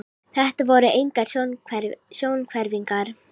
Þetta voru engar sjónhverfingar.